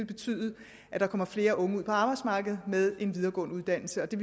betyde at der kommer flere unge ud på arbejdsmarkedet med en videregående uddannelse og det